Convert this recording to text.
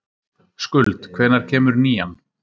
Skuld, hvenær kemur nían?